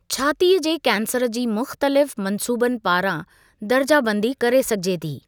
छातीअ जे कैंसर जी मुख़्तलिफ़ मंसूबनि पारां दर्जा बंदी करे सघिजे थी।